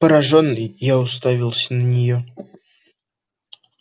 поражённый я уставился на неё